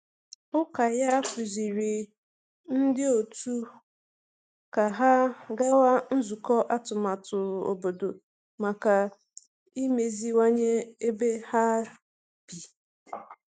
Ụka ya kụziri ndị otu ka ha gawa nzukọ atụmatụ obodo maka imeziwanye ebe ha bi.